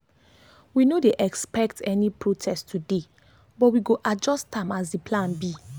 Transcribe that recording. we no dey expect any protest expect any protest today but we go adjust am as the plan be